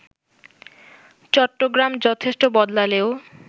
চট্টগ্রাম যথেষ্ট বদলালেও